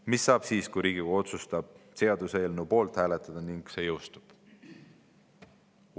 Mis saab siis, kui Riigikogu otsustab hääletada seaduseelnõu poolt ja see jõustub?